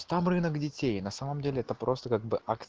там рынок детей на самом деле это просто как бы акц